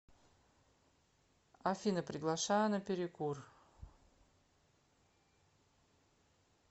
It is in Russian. афина приглашаю на перекур